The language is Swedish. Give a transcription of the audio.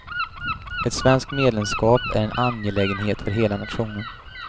Ett svenskt medlemskap är en angelägenhet för hela nationen.